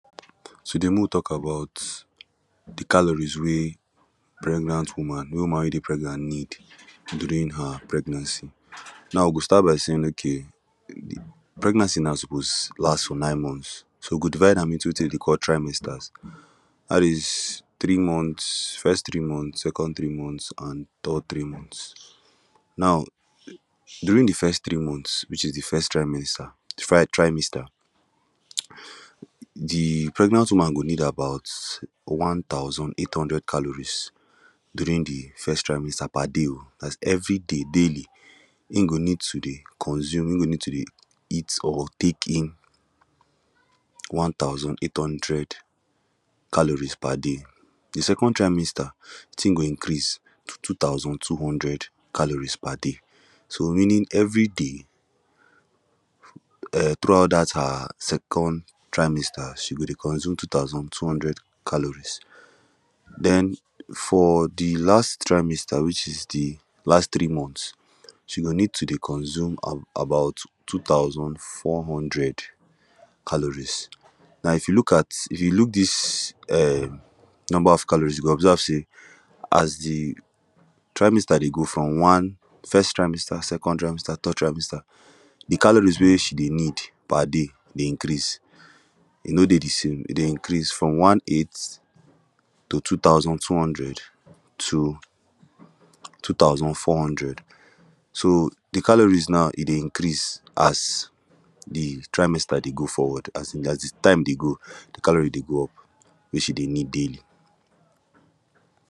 Today mek we tok about the calories wey pregnant woman wey woman wey dey pregnant need during her pregnancy now we go start by saying okay pregnancy now suppose last for nine months so we go divide am into wetin dem dey call trimesters dat is three months first three month second three month an third three Month now during de first three months which is de first trimester fri trimester de pregnant woman go need about one thousand eight hundred calories during de first trimester per day oo dat is every day daily him go need to dey consume him go need to dey eat or tek in one thousand eight hundred calories per day de second trimester tin go increase to two thousand two hundred calories per day so meaning everyday um through out dat her second trimester she go dey consume two thousand two hundred calories then for de last trimester wich is de last three months she go need to dey consume about two thousand four hundred calories now if you look at if you look dis um number of calories you go observe say as de trimester dey go from one first trimester second trimester third trimester the calories wey she dey need per day dey increase e no dey de same e dey increase from one eight to two thousand two hundred to two thousand four hundred so de calories now e dey increase as de trimester dey go forward as in as de time dey go the calorie dey go up wey she dey need daily